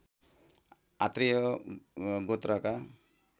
Atreya गोत्रका